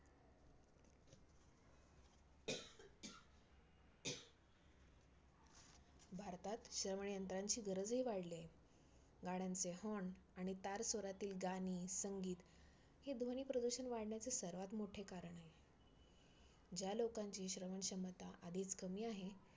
भारतात श्रवणयंत्रणांची गरजही वाढली आहे. गाड्यांचे horn आणि तारस्वरातील गाणी, संगीत हे ध्वनी प्रदूषण वाढण्याचे सर्वात मोठे कारण आहे. ज्या लोकांची श्रवणक्षमता आधीच कमी आहे